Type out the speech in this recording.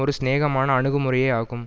ஒரு சிநேகமான அணுகுமுறையே ஆகும்